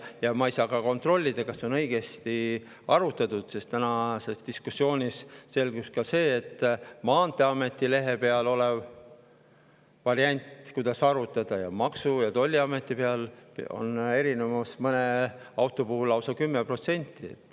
Ja ma ei saa kontrollida, kas see on õigesti arvutatud, sest nagu tänases diskussioonis ka selgus, ameti lehel variant, kuidas arvutada, ja Maksu‑ ja Tolliameti erinevus on mõne auto puhul lausa 10%.